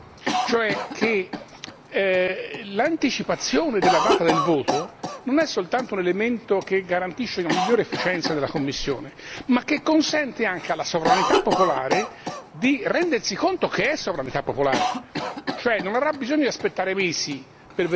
Ma soprattutto vorrei indicare un'altra questione importante, cioè che l'anticipazione della data del voto non è soltanto un elemento che garantisce una migliore efficienza della Commissione, ma che consente anche alla sovranità popolare di rendersi conto che è sovranità popolare.